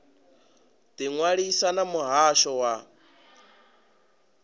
ḓi ṅwalisa na muhasho wa